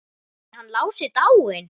Er hann Lási dáinn?